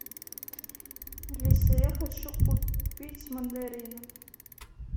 алиса я хочу купить мандарины